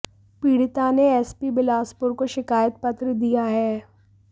पीड़िता ने एसपी बिलासपुर को शिकायत पत्र दिया है